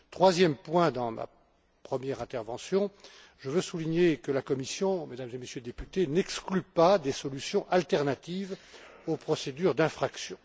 Comme troisième point de ma première intervention, je voudrais souligner que la Commission, Mesdames et Messieurs les députés, n'exclut pas des solutions alternatives aux procédures d'infraction.